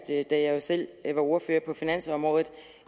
da jeg jo selv var ordfører på finansområdet